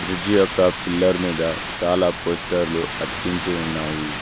Bridge యొక్క pillar మీద చాలా పోస్టర్లు అతికించి ఉన్నాయి.